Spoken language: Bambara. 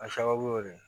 A sababu y'o de